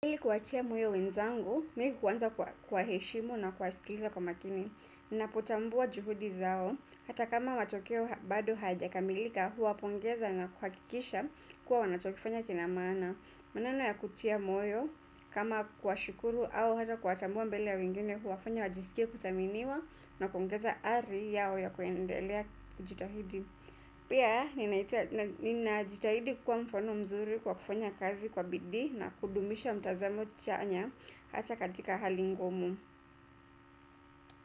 Ili kuwatia moyo wenzangu, mi huanza kwa kuwaheshimu na kuwasikiliza kwa makini. Ninapotambua juhudi zao. Hata kama matokeo bado hayajakamilika huwapongeza na kuhakikisha kuwa wanachokifanya kinamaana. Maneno ya kutia moyo, kama kuwashukuru au hata kuwatambua mbele ya wengine huwafanya wajisikie kuthaminiwa na kuongeza ari yao ya kuendelea kujitahidi. Pia, ninajitahidi kukuwa mfano mzuri kwa kufanya kazi kwa bidii na kudumisha mtazamo chanya hasaa katika hali ngumu.